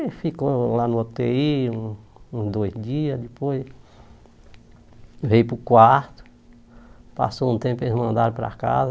Aí ficou lá no u tê i um uns dois dias, depois veio para o quarto, passou um tempo, eles mandaram para casa.